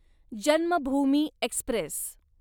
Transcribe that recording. Janmabhoomi Express